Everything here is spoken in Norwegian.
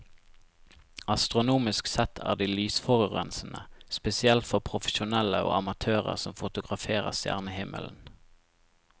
Astronomisk sett er de lysforurensende, spesielt for profesjonelle og amatører som fotograferer stjernehimmelen.